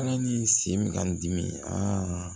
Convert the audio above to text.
Ala ni sen bɛ ka n dimi aa